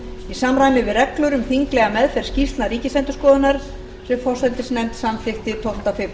í samræmi við reglur um þinglega meðferð skýrslna ríkisendurskoðunar sem forsætisnefnd samþykkti tólfta febr síðastliðinn